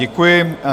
Děkuji.